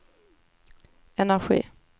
energi